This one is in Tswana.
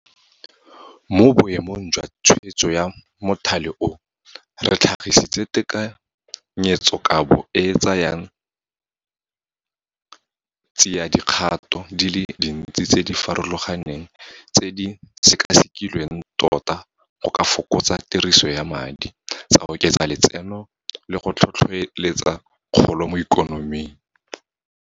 Mo boemong jwa tshwetso ya mothale oo, re tlhagisitse tekanyetsokabo e e tsayang tsiadikgato di le dintsi tse di farologaneng tse di sekasekilweng tota go ka fokotsa tiriso ya madi, tsa oketsa letseno le go tlhotlhetsa kgolo mo ikonoming.